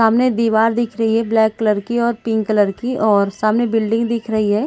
सामने दिवार दिख रही है ब्लैक कलर की और पिंक कलर की और सामने बिल्डिंग दिख रही है।